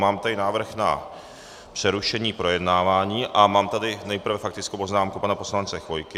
Mám tady návrh na přerušení projednávání a mám tady nejprve faktickou poznámku pana poslance Chvojky.